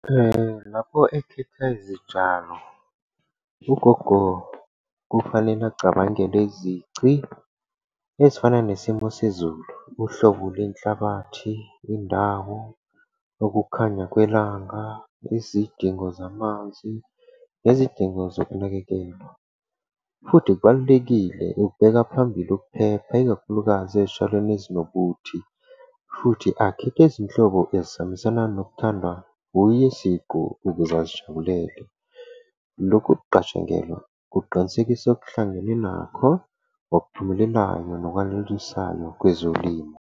Lapho ekhetha izitshalo, ugogo kufanele acabangele izici ezifana nesimo sezulu, uhlobo lwenhlabathi, indawo, ukukhanya kwelanga, izidingo zamanzi nezidingo zokunakekelwa. Futhi kubalulekile ukubeka phambili ukuphepha, ikakhulukazi ezitshalweni ezinobuthi. Futhi akhethe izinhlobo ezihambisana nokuthandwa uye siqu ukuze azijabulele. Lokhu kuqatshangelwa kuqinisekisa okuhlangene nakho, okuphumelelayo nokwanelisayo kwezolimo.